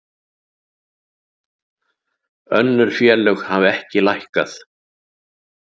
Önnur félög hafa ekki lækkað